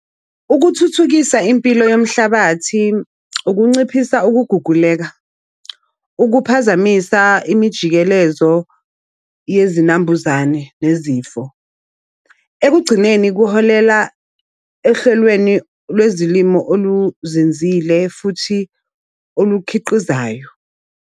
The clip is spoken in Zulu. Ukuthuthukisa impilo yomhlabathi, ukunciphisa ukuguguleka, ukuphazamisa imijikelezo yezinambuzane nezifo. Ekugcineni kuholela ehlelweni lwezilimo oluzenzile futhi olukhiqizayo.